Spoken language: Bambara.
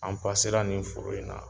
An pasela nin foro in na